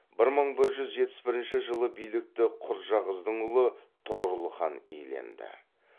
бір мың бір жүз жетпіс бірінші жылы билікті құрджақыздың ұлы тұғырыл хан иеленді